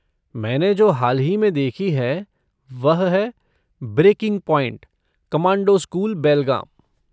मैंने जो हाल ही में देखी है, वह है 'ब्रेकिंग पॉइंट कमांडो स्कूल, बेलगाम'।